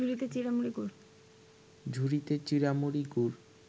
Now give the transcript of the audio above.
ঝুড়িতে চিঁড়ামুড়ি, গুড়